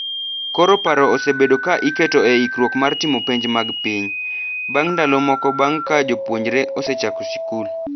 Koro paro osebedo ka iketo e ikruok mar timo penj mag piny, bang’ ndalo moko bang’ ka jopuonjre osechako sikul.